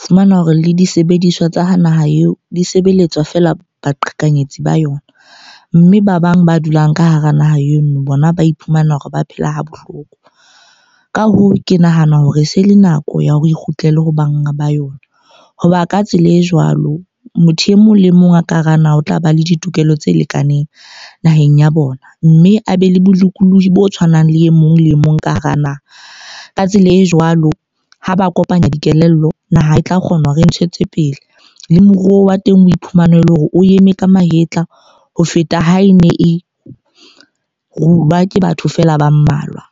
Fumanwa hore le disebediswa tsa ho naha eo di sebeletswa fela baqhekanyetsi ba yona. Mme ba bang ba dulang ka hara naha eno bona ba iphumana hore ba phela ha bohloko. Ka hoo, ke nahana hore e se le nako ya hore e kgutlele ho banga ba yona. Hoba ka tsela e jwalo, motho e mong le mong a ka hara naha o tla ba le ditokelo tse lekaneng, naheng ya bona. Mme a be le bolokolohi bo tshwanang le e mong le e mong ka hara naha. Ka tsela e jwalo, ha ba kopanya dikelello naha e tla kgona ho re ntshetse pele. Le moruo wa teng o iphumana ele hore o eme ka mahetla ho feta ha e ne e rulwa ke batho fela ba mmalwa.